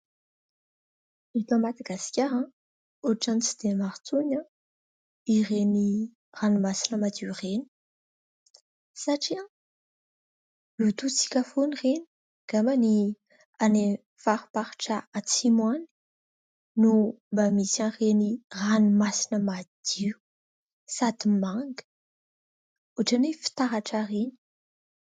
Eto Madagasikara, ohatra ny tsy dia maro intsony ireny ranomasina madio ireny, satria lotointsika foana ireny. Angamba any amin'ny fariparitra atsimo any no mba misy an'ireny ranomasina madio, sady manga, ohatra ny hoe fitaratra ireny.